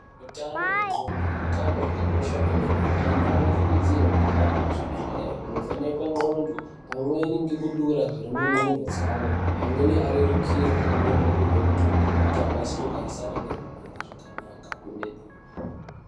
Hutano hwendxondo utano hwakakosha kwemene antu anokurudzirwe kuhambe kuzvibhedhlere kunovhenekwe ndxondo pamweni ngekudara zvirimundxondo dzavo amweni ariritirwe amweni opihwa mutombo kuti akwanise kugarisana neamweni zvakanaka kwemene.